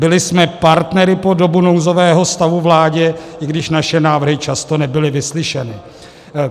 Byli jsme partnery po dobu nouzového stavu vládě, i když naše návrhy často nebyly vyslyšeny.